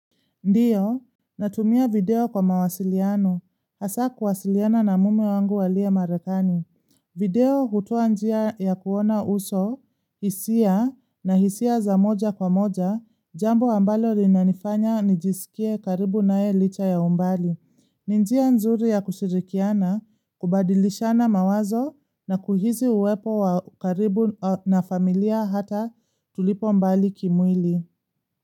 Ndiyo, natumia video kwa mawasiliano, hasa kuwasiliana na mume wangu aliye marekani. Video hutoa njia ya kuona uso, hisia na hisia za moja kwa moja, jambo ambalo linanifanya nijisikie karibu nae licha ya umbali. Ni njia nzuri ya kushirikiana, kubadilishana mawazo na kuhisi uwepo wa karibu na familia hata tulipo mbali kimwili.